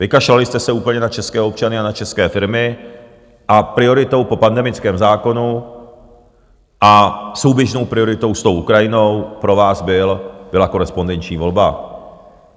Vykašlali jste se úplně na české občany a na české firmy a prioritou po pandemickém zákonu a souběžnou prioritou s tou Ukrajinou pro vás byla korespondenční volba.